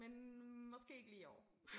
Men måske ikke lige i år